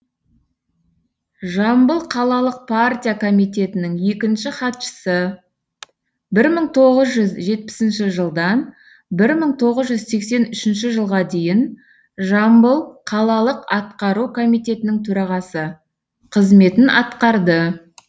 жамбыл қалалық партия комитетінің екінші хатшысы бір мың тоғыз жүз жетпісінші жылдан бір мың тоғыз жүз сексен үшінші жылға дейін жамбыл қалалық атқару комитетінің төрағасы қызметін атқарды